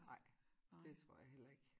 Ej det tror jeg heller ik